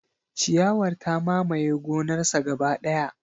Ciyawar ta mamaye gonarsa gaba daya.